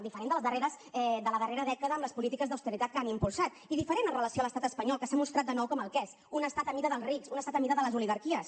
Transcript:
diferent de la darrera dècada amb les polítiques d’austeritat que han impulsat i diferent amb relació a l’estat espanyol que s’ha mostrat de nou com el que és un estat a mida dels rics un estat a mida de les oligarquies